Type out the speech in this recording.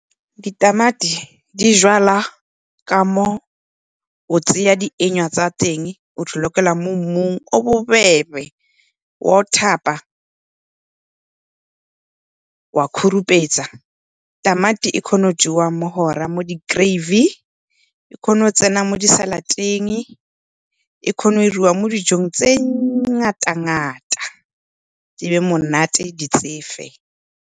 Di tamati di jwala ka mo o tseya di tsa teng o lokela ka mo mmung o bobebe wa go thapa, wa khurumetsa. Tamati e kgona go jewa bo di-gravy, e kgona go tsena mo di-salad-eng, e kgona go 'iriwa mo dijong tse di ngata-ngata, di be monate, di tsefe.